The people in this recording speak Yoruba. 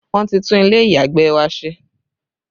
Wọn ti tún ilé ìyàgbẹ̀ wa ṣe